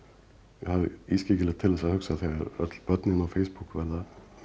er ískyggilegt til þess að hugsa þegar öll börnin á Facebook verða